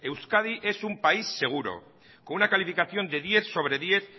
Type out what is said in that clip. euskadi es un país seguro con una calificación de diez sobre diez